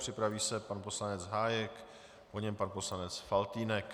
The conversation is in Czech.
Připraví se pan poslanec Hájek, po něm pan poslanec Faltýnek.